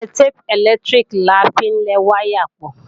Sẹllotépù ẹ̀lẹ́tíríkì la fi ń lẹ wáyà pọ̀